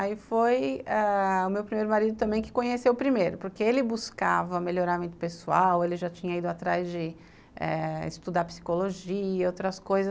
Aí foi ãh o meu primeiro marido também que conheceu o primeiro, porque ele buscava melhoramento pessoal, ele já tinha ido atrás de eh estudar psicologia, outras coisas.